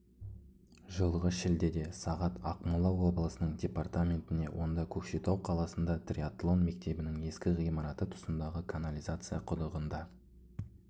жылғы шілдеде сағат ақмола облысының департаментіне онда көкшетау қаласында триатлон мектебінің ескі ғимараты тұсындағы канализация құдығында